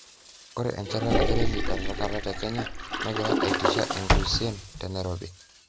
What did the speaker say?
Ore enchatata ereli etenakata teKenya negira aitisha inguesien tenairobi